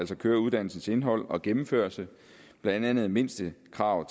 til køreuddannelsens indhold og gennemførelse blandt andet et mindstekrav